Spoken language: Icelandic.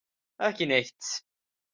Ekki neitt